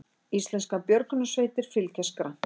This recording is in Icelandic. Íslenskar björgunarsveitir fylgjast grannt með